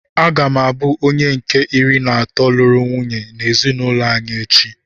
Aga m abụ onye nke iri na atọ lụrụ nwaanyị n'ezinụlọ anyị echi.